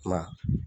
I ma ye